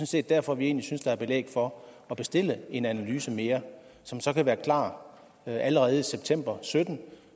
set derfor vi egentlig synes der er belæg for at bestille en analyse mere som så kan være klar allerede i september to og sytten